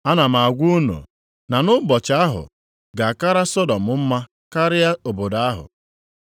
Ana m agwa unu na nʼụbọchị ahụ, ga-akara Sọdọm mma karịa obodo ahụ.